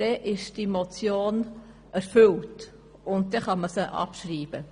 Damit ist die Motion erfüllt, und man kann sie abschreiben.